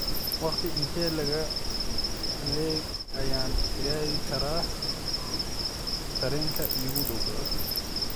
Waqti intee le'eg ayaan gaari karaa tareenka iigu dhow?